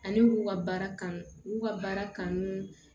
Ani y'u ka baara kanu u y'u ka baara kanu